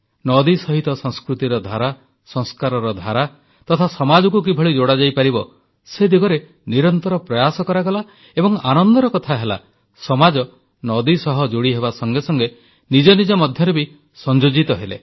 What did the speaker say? ନଦୀ ସହିତ ସଂସ୍କୃତିର ଧାରା ସଂସ୍କାରର ଧାରା ତଥା ସମାଜକୁ କିଭଳି ଯୋଡ଼ାଯାଇପାରିବ ସେ ଦିଗରେ ନିରନ୍ତର ପ୍ରୟାସ କରାଗଲା ଏବଂ ଆନନ୍ଦର କଥା ହେଲା ସମାଜ ନଦୀ ସହ ଯୋଡ଼ିହେବା ସଙ୍ଗେ ସଙ୍ଗେ ନିଜ ନିଜ ମଧ୍ୟରେ ବି ସଂଯୋଜିତ ହେଲା